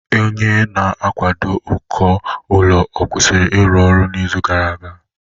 Onye na-akwado uko ụlọ ọ kwụsịrị ịrụ ọrụ n'izu gara aga?